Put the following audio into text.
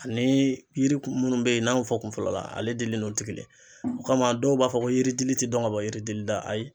Ani yiri munnu be yen n'an y'o fɔ kun fɔlɔ la ale dili n'olu te kelen ye o kama dɔw b'a fɔ ko yiri dili te dɔn ka bɔ yiri dili la ayi